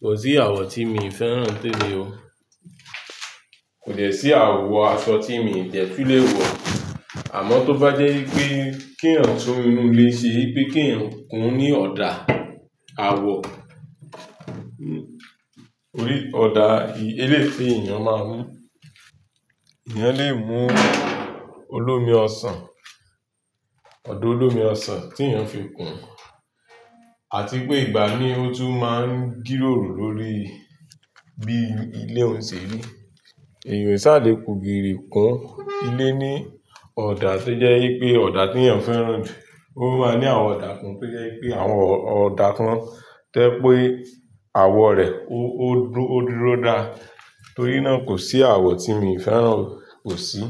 Kò sí àwọ̀ tí mi ì fẹ́ràn ntẹ́mi o. Kò dẹ́ sí àwọ̀ aṣọ tí mo ì dẹ́ túlé wọ̀. Àmọ́ tó bá jẹ́ yí wipé kí ẹ̀yàn tun inú ilé ṣe, pé kí ẹ̀yàn kùn ní ọ̀dà, àwọ̀, torí ọ̀dà, eléyi ti èeyàn máa ń mú. Ẹ̀yàn lè mú olómi ọsàn, ọ̀dà olómi ọsàn tí èeyàn fi kùn, àti pé ìgbà mí ó tún máa ń gílòrò lórí bí ilé òun ṣe rí. Ènìyàn o sá à le ku gírìì kun ilé ní ọ̀dà tó jẹ́ yí pé ọ̀dà t'èeyàn fẹ́ràn jù. Ó máa ní àwọn ọ̀dà kan tó jẹ́ í pé àwọn ọ̀dà kan to jẹ́ pé àwọ̀ rẹ̀ ó dúró dá. Torí náà kò sí àwọ̀ tí mi ì fẹ́ràn o, kò sí.